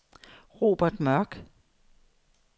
Robert Mørch